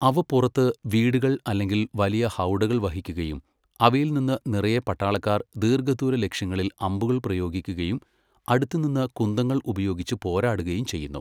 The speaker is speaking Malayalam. അവ പുറത്ത് വീടുകൾ അല്ലെങ്കിൽ വലിയ ഹൗഡകൾ വഹിക്കുകയും അവയിൽ നിന്ന് നിറയെ പട്ടാളക്കാർ ദീർഘദൂര ലക്ഷ്യങ്ങളിൽ അമ്പുകൾ പ്രയോഗിക്കുകയും അടുത്തുനിന്ന് കുന്തങ്ങൾ ഉപയോഗിച്ച് പോരാടുകയും ചെയ്യുന്നു.